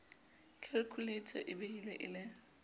khalkhuleita e behilwe e le